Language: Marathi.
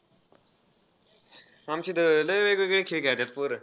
आमची त~ लय वेगवेगळे खेळ खेळतात पोरं.